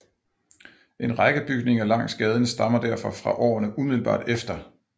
En række bygninger langs gaden stammer derfor fra årene umiddelbart efter